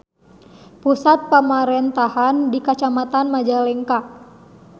Pusat pamarentahan di Kacamatan Majalengka.